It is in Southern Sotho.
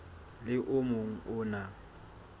le o mong o na